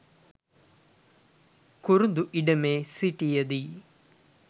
කුරුඳු ඉඩමේ සිටියදී